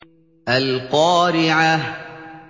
الْقَارِعَةُ